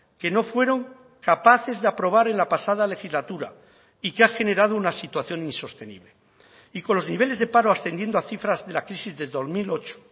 que no fueron capaces de aprobar en la pasada legislatura y que ha generado una situación insostenible y con los niveles de paro ascendiendo a cifras de la crisis de dos mil ocho